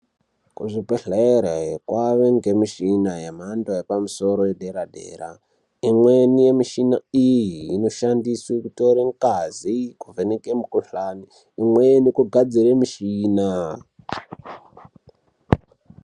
Kuzvibhedhlera kwava nemishina yemhando yepamusoro yedera dera. Imweni yemishina iyi inoshandiswa kuvheneke ngazi kuvheneke mikhuhlane imweni kugadzira mishina.